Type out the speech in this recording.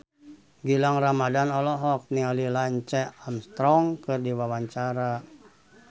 Gilang Ramadan olohok ningali Lance Armstrong keur diwawancara